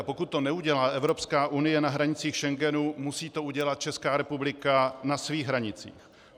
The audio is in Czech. A pokud to neudělá Evropská unie na hranicích Schengenu, musí to udělat Česká republika na svých hranicích.